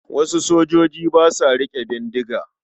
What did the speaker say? Wasu sojoji ba sa riƙe bindiga.